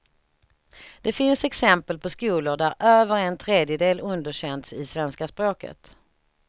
Det finns exempel på skolor där över en tredjedel underkänts i svenska språket.